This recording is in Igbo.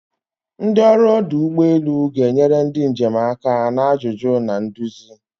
Ndị ọrụ ọdụ ụgbọ elu ga-enyere ndị njem aka na ajụjụ na nduzi.